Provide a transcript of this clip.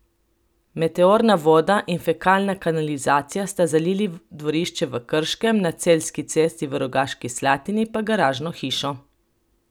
Meteorna voda in fekalna kanalizacija sta zalili dvorišče v Krškem, na Celjski cesti v Rogaški Slatini pa garažno hišo.